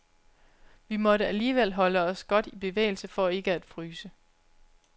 Vi måtte alligevel holde os godt i bevægelse for ikke at fryse.